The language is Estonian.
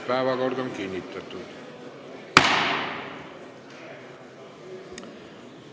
Päevakord on kinnitatud.